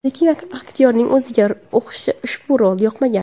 Lekin aktyorning o‘ziga ushbu rol yoqmagan.